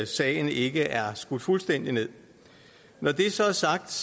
sagen ikke er skudt fuldstændig nederst når det så er sagt